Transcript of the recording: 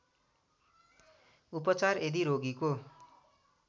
उपचार यदि रोगीको